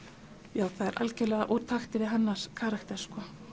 já það er algerlega úr takti við hennar karakter